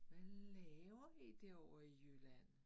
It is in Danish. Hvad laver vi derovre i Jylland